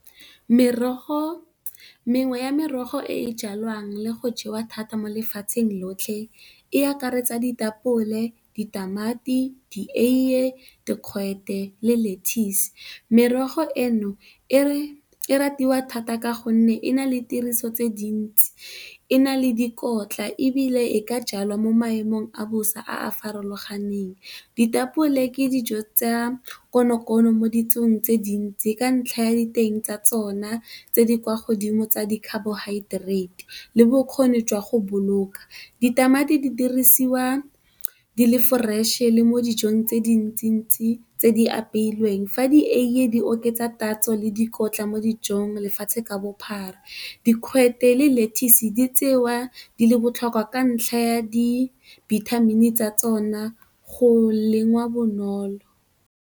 Mengwe ya merogo e e jalwang le go jewa thata mo lefatsheng lotlhe e akaretsa ditapole, ditamati, di eiye dikgwete le lettuce merogo eno e ratiwa thata ka gonne e na le tiriso tse dintsi, e na le dikotla, ebile e ka jalwa mo maemong a bosa a a farologaneng. Ditapole ke dijo tsa konokono mo ditsong tse dintsi ka ntlha ya diteng tsa tsona tse di kwa godimo tsa di carbohydrates le bokgoni jwa go boloka. Ditamati di dirisiwa di le foreše le mo dijong tse dintsi-ntsi tse di apeilweng. Fa di eiye di oketsa tatso le dikotla mo dijong lefatshe ka bophara. Dikgwete le lettuce di tsewa di le botlhokwa ka ntlha ya dibithamini tsa tsona le go lengwa bonolo.